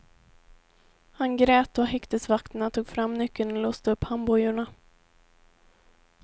Han grät då häktesvakterna tog fram nyckeln och låste upp handbojorna.